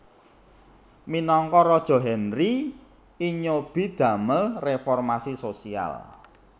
Minangka raja Henry I nyobi damel reformasi sosial